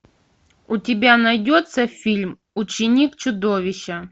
у тебя найдется фильм ученик чудовища